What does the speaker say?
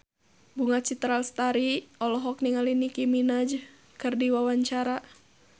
Bunga Citra Lestari olohok ningali Nicky Minaj keur diwawancara